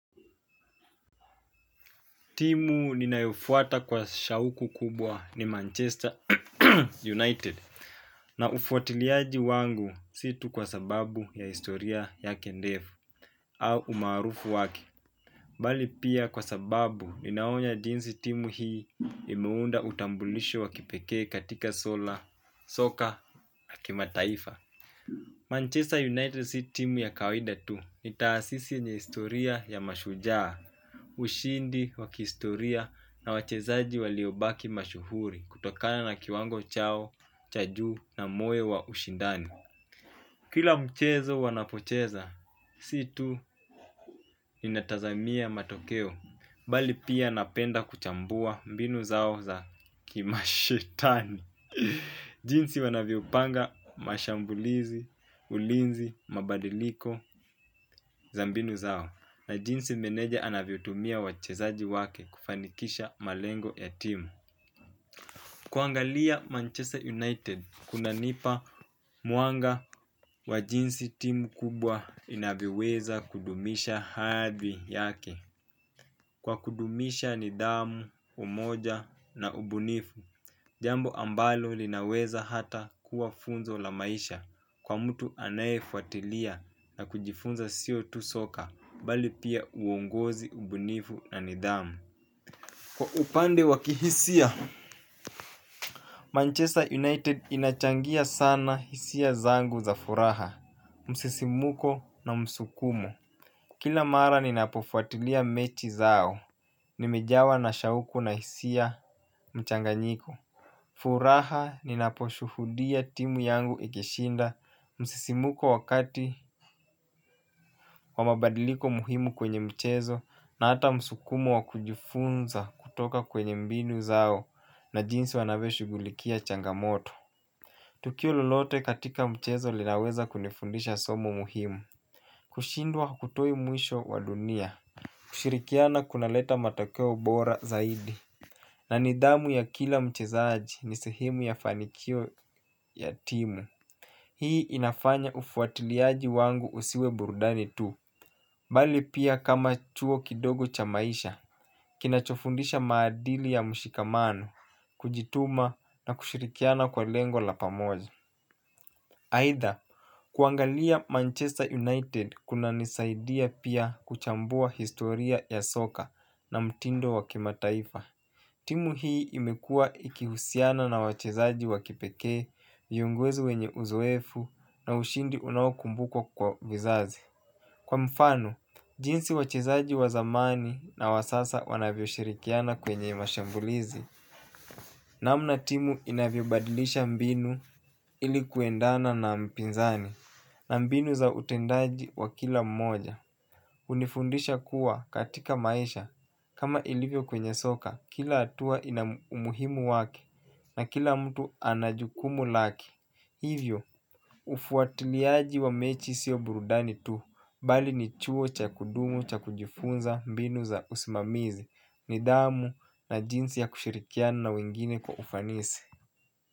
Timu ninayofuata kwa shauku kubwa ni Manchester United na ufuatiliaji wangu si tu kwa sababu ya historia yake ndefu au umaarufu wake. Mbali pia kwa sababu ninaona jinsi timu hii imeunda utambulisho wa kipekee katika soka ya kimataifa Manchester United si team ya kawida tu ni taasisi yenye historia ya mashujaa, ushindi wa kihistoria na wachezaji waliobaki mashuhuri kutokana na kiwango chao, cha juu na moyo wa ushindani. Kila mchezo wanapocheza si tu ninatazamia matokeo bali pia napenda kuchambua mbinu zao za ki mashitani. Jinsi wanavyo panga mashambulizi, ulinzi, mabadiliko, za mbinu zao na jinsi meneja anavyotumia wachezaji wake kufanikisha malengo ya timu. Kuangalia Manchester United kuna nipa mwanga wa jinsi timu kubwa inavyoweza kudumisha hadhi yake. Kwa kudumisha nidhamu, umoja na ubunifu jambo ambalo linaweza hata kuwa funzo la maisha kwa mtu anayefuatilia na kujifunza sio tu soka bali pia uongozi ubunifu na nidhamu. Kwa upande wa kihisia Manchester United inachangia sana hisia zangu za furaha, msisimuko na msukumo. Kila mara ninapofuatilia mechi zao, nimejawa na shauku na hisia mchanganyiko. Furaha ni naposhuhudia timu yangu ikishinda msisimuko wakati wamabadiliko muhimu kwenye mchezo na hata msukumo wakujifunza kutoka kwenye mbinu zao na jinsi wanavyo shughulikia changamoto. Tukio lolote katika mchezo linaweza kunifundisha somo muhimu. Kushindwa hutoi mwisho wa dunia. Kushirikiana kunaleta matakeo bora zaidi. Na nidhamu ya kila mchezaji ni sehemu ya fanikio ya timu. Hii inafanya ufuatiliaji wangu usiwe burudani tu. Bali pia kama chuo kidogo cha maisha kinachofundisha maadili ya mshikamano kujituma na kushirikiana kwa lengo la pamoja aidha kuangalia manchester united kunanisaidia pia kuchambua historia ya soka na mtindo wa kimataifa. Timu hii imekuwa ikihusiana na wachezaji wakipekee, viongozi wenye uzoefu na ushindi unao kumbukwa kwa vizazi. Kwa mfano, jinsi wachezaji wa zamani na wa sasa wanavyoshirikiana kwenye mashambulizi. Namna timu inavyo badilisha mbinu ilikuendana na mpinzani na mbinu za utendaji wa kila mmoja. Hunifundisha kuwa katika maisha kama ilivyo kwenye soka, kila hatua ina umuhimu waki. Na kila mtu anajukumu lake. Hivyo, ufuatiliaji wa mechi sio burudani tu. Bali ni chuo cha kudumu cha kujifunza mbinu za usimamizi. Nidhamu na jinsi ya kushirikia na wengine kwa ufanisi.